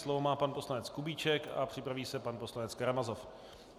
Slovo má pan poslanec Kubíček a připraví se pan poslanec Karamazov.